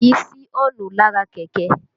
Kìí sí ọ́ǹnù lára kẹ̀kẹ́